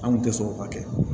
An kun tɛ sɔn o ma kɛ